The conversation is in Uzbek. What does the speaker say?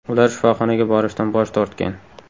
Ular shifoxonaga borishdan bosh tortgan.